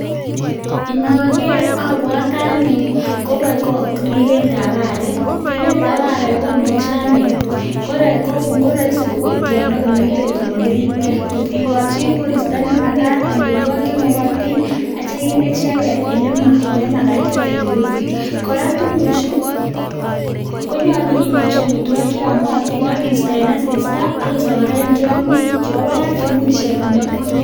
Inogeer abwote ane ribeet ab arek komuche kobeek Yoon mengech ngot ko mokirib nyolu kigochi amitwogik che yomotin ak kiisti en tiongik che bo Barak che imuch kwam